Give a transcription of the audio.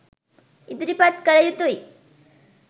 ඉදිරිපත් කළ යුතුයි.